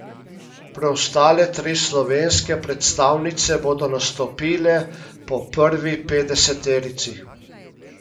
Preostale tri slovenske predstavnice bodo nastopile po prvi petdeseterici.